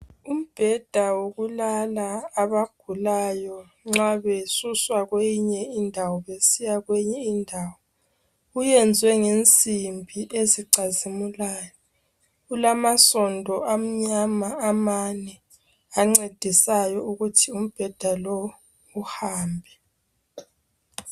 Umbheda wokulala abagulayo nxa besuswa kweyinye indawo besiya kweyinye indawo uyenzwe ngensimbi ezicazimulayo. Ulamasondo amane amnyama ancedisayo ukuthi umbheda lowu uhambe.